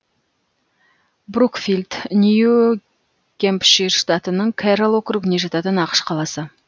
брукфилд нью гэмпшир штатының кэрролл округіне жататын ақш қаласы